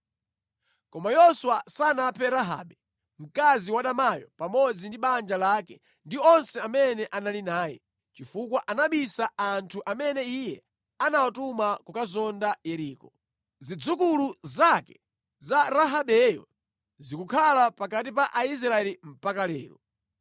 Koma Yoswa sanaphe Rahabe, mkazi wadamayo pamodzi ndi banja lake ndi onse amene anali naye, chifukwa anabisa anthu amene iye anawatuma kukazonda Yeriko. Zidzukulu zake za Rahabeyo zikukhala pakati pa Aisraeli mpaka lero.